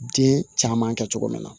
Den caman kɛ cogo min na